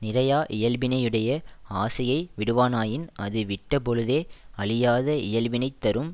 நிறையா இயல்பினையுடைய ஆசையை விடுவானாயின் அது விட்ட பொழுதே அழியாத இயல்பினைத் தரும்